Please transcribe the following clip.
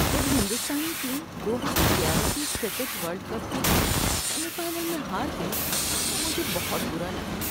جب ہندوستانی ٹیم دو ہزار گیارہ کے کرکٹ ورلڈ کپ کے سیمی فائنل میں ہار گئی تو مجھے بہت برا لگا تھا۔